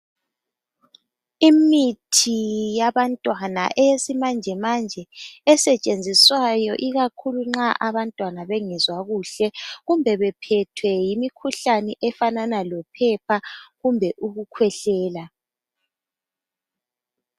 Imithi yabantwana eyesimanje manje esetshenziswayo ikakhulu nxa abantwana bengezwa kuhle kumbe bephethwe yimikhuhlane efanana lophepha kumbe ukukhwehlela.